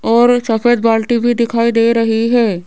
और सफेद बाल्टी भी दिखाई दे रही है।